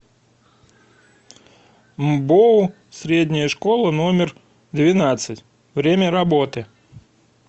мбоу средняя школа номер двенадцать время работы